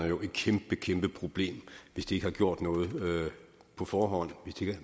jo et kæmpe kæmpe problem hvis de ikke har gjort noget på forhånd